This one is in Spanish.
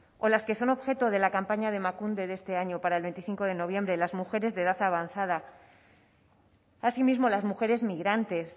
o las que son objeto de la campaña de emakunde de este año para el veinticinco de noviembre las mujeres de edad avanzada así mismo las mujeres migrantes